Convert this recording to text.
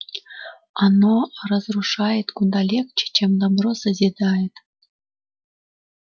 оно разрушает куда легче чем добро созидает